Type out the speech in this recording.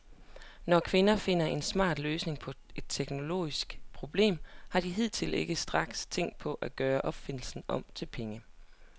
Når kvinder finder en smart løsning på et teknologisk problem, har de hidtil ikke straks tænkt på at gøre opfindelsen om til penge.